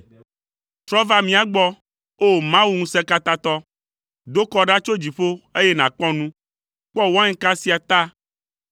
Trɔ va mía gbɔ, O Mawu, Ŋusẽkatãtɔ! Do kɔ ɖa tso dziƒo, eye nàkpɔ nu! Kpɔ wainka sia ta,